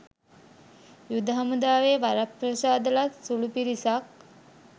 යුද හමුදාවේ වරප්‍රසාද ලත් සුළු පිරිසක්